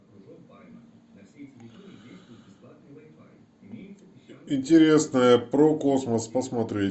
интересное про космос посмотреть